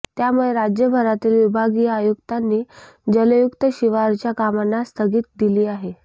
त्यामुळे राज्यभरातील विभागीय आयुक्तांनी जलयुक्त शिवारच्या कामांना स्थगिती दिली आहे